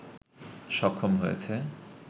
সক্ষম হয়েছে